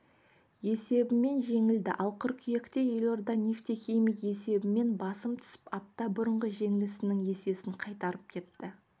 есебімен жеңілді ал қыркүйекте елордада нефтехимик есебімен басым түсіп апта бұрынғы жеңілісінің есесін қайтарып кетті